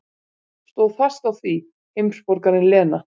Stóð fast á því, heimsborgarinn Lena.